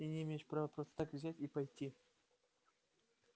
ты не имеешь права просто так взять и пойти